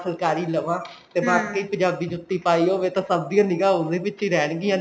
ਫੁਲਕਾਰੀ ਲਵਾਂ ਤੇ ਬਾਕੀ ਪੰਜਾਬੀ ਜੁੱਤੀ ਪਾਈ ਹੋਵੇ ਤਾਂ ਸਭ ਦਿਉ ਨਿਗਾਹ ਉਹਦੇ ਵਿੱਚ ਹੀ ਰਹਿਣ ਗੀਆਂ